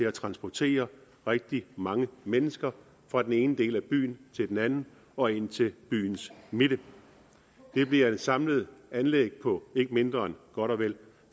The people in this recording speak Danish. at transportere rigtig mange mennesker fra den ene del af byen til den anden og ind til byens midte det bliver et samlet anlæg på ikke mindre end godt og vel